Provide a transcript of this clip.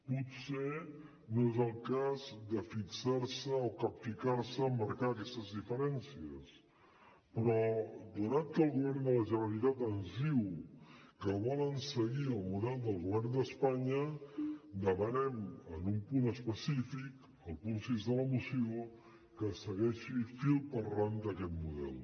potser no és el cas de fixar se o capficar se amb marcar aquestes diferències però donat que el govern de la generalitat ens diu que volen seguir el model del govern d’espanya demanem en un punt específic el punt sis de la moció que es segueixi fil per randa aquest model